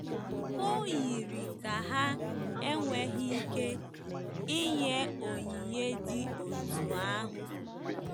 O yiri ka ha enweghị ike inye onyinye dị otú ahụ.